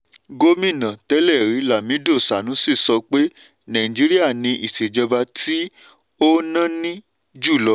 gómínà tẹ́lẹ̀rí lamido sanusi sọ pé nàìjíríà ni ìṣèjọba tí ó náni jùlọ.